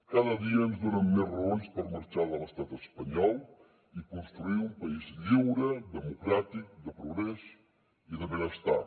cada dia ens donen més raons per marxar de l’estat espanyol i construir un país lliure democràtic de progrés i de benestar